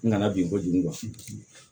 N kana bin kojugu